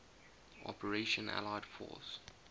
operation allied force